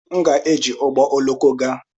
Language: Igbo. M ga-eji ụgbọ oloko gaa.